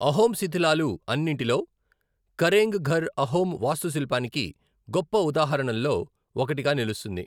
అహోం శిథిలాలు అన్నింటిలో, కరేంగ్ ఘర్ అహోమ్ వాస్తుశిల్పానికి గొప్ప ఉదాహరణల్లో ఒకటిగా నిలుస్తుంది.